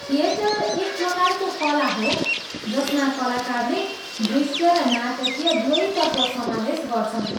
Theatre एक प्रकारको कला हो जसमा कलाकारले दृश्य र नाटकीय दुवै तत्त्व समावेश गर्छन्।